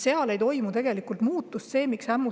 Seal tegelikult muutust ei toimu.